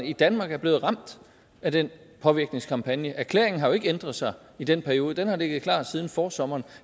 i danmark er blevet ramt af den påvirkningskampagne erklæringen har jo ikke ændret sig i den periode den har ligget klar siden forsommeren